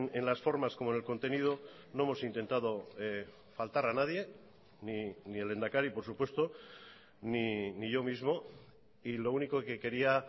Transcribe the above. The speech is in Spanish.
en las formas como en el contenido no hemos intentado faltar a nadie ni el lehendakari por supuesto ni yo mismo y lo único que quería